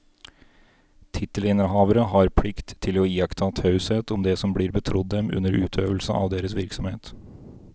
Tittelinnehavere har plikt til å iaktta taushet om det som blir betrodd dem under utøvelse av deres virksomhet.